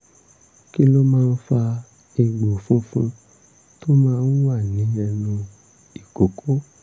kí ló ń fa àwọn egbò funfun tó máa ń wà ní ẹnu ìkókó?